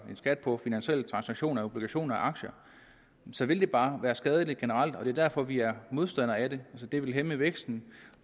en skat på finansielle transaktioner af obligationer og aktier så vil det bare være skadeligt generelt og det er derfor vi er modstandere af det det ville hæmme væksten